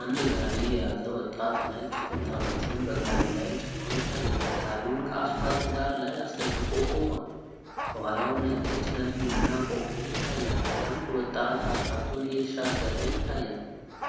አንድ ጋሪ የያዘ ወጣት ነጭ ኩንታሎችን በጋሪው ላይ ጭኖ ይታያል። ጋሪውን ከአስፓልት ዳር ላይ አስደግፎ ቆማል። ከኋላውም ነጭ የጭነት መኪና ቆሞ ይታያል። አንድ ወጣት አስፓልቱን እየተሻገረ ይታያል።